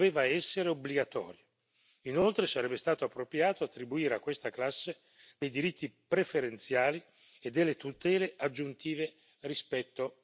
Inoltre, sarebbe stato appropriato attribuire a questa classe dei diritti preferenziali e delle tutele aggiuntive rispetto a tutte le altre classi.